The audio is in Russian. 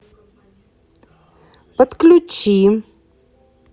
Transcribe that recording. подключи